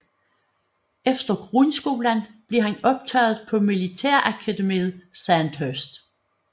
Efter grundskolen blev han optaget på militærakademiet Sandhurst